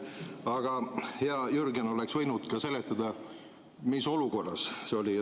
Aga hea Jürgen oleks võinud ka seletada, mis olukorras see oli.